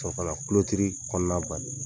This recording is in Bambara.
K sɔrɔ kana kukutiri kɔnɔna bari